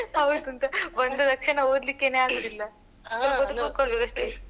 ಹೌದು ಅಂತ ಬಂದ ತಕ್ಷಣ ಓದ್ಲಿಕ್ಕೆನೆ ಆಗುದಿಲ್ಲ.